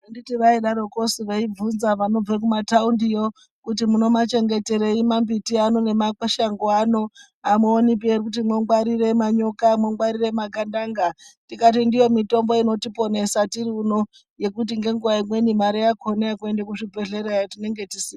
Handiti vaidaroko veibvunza vanobve kumataundiyo kuti munomachengeterei mambiti ano nemashango ano. Hamuonipi ere kuti mongwarire manyoka mongwarire magandanga, tikati ndiyo mitombo inotiponesa tiriuno. Yekuti ngenguva imweni mari yakona yekuende kuzvibhedlerayo tinenge tisina.